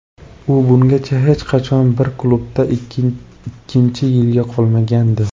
U bungacha hech qachon bir klubda ikkinchi yilga qolmagandi.